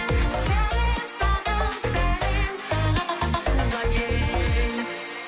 сәлем саған сәлем саған туған ел